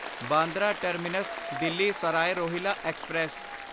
Bandra terminus Delhi Sarai Rohilla express